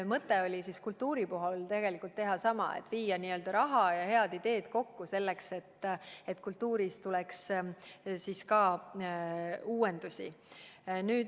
Mõte oli kultuuri puhul teha sama: viia raha ja head ideed kokku, et ka kultuuris tuleks uuendusi.